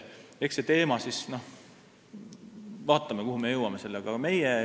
Eks vaatame, kuhu me sellega jõuame.